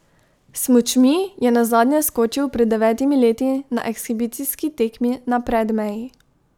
S smučmi je nazadnje skočil pred devetimi leti na ekshibicijski tekmi na Predmeji.